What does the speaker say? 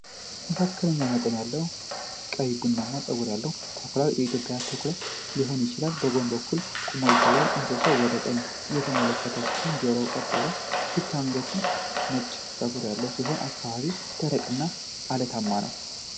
መካከለኛ መጠን ያለው ቀይ ቡናማ ጸጉር ያለው ተኩላ (የኢትዮጵያ ቀይ ተኩላ ሊሆን ይችላል) በጎን በኩል ቆሞ ይታያል። እንስሳው ወደ ቀኝ እየተመለከተ ሲሆን ጆሮዎቹ ቀጥ ብለዋል። ፊቱና አንገቱ ላይ ነጭ ጸጉር ያለ ሲሆን አካባቢው ደረቅና አለታማ ነው።